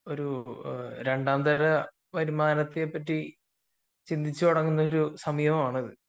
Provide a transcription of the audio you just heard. ഒരു രണ്ടാം തരാം വരുമാനത്തെപ്പറ്റി ചിന്തിച്ചു തുടങ്ങുന്ന സമയമാണ് അപ്പൊ